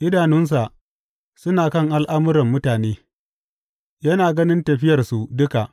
Idanunsa suna kan al’amuran mutane; yana ganin tafiyarsu duka.